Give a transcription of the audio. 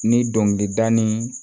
Ni dɔnkilida ni